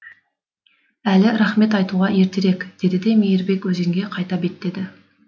әлі рақмет айтуға ертерек деді де мейірбек өзенге қайта беттеді